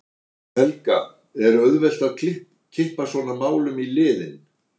Helga: Er auðvelt að kippa svona málum í liðinn?